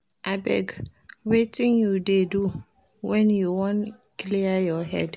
Abeg, wetin you dey do wen you wan clear your head?